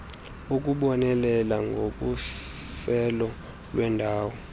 ukubonelela ngokhuselo lweendawo